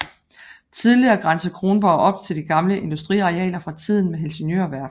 Tidligere grænsede Kronborg op til de gamle industriarealer fra tiden med Helsingør Værft